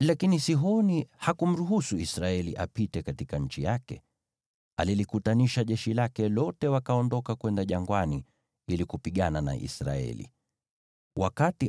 Lakini Sihoni hakumruhusu Israeli apite katika nchi yake. Alilikutanisha jeshi lake lote, wakaondoka kwenda jangwani ili kupigana na Israeli.